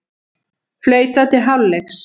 Flautað til hálfleiks